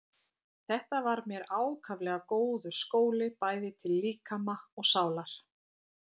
Þetta var mér ákaflega góður skóli bæði til líkama og sálar.